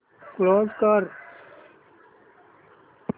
close कर